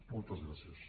moltes gràcies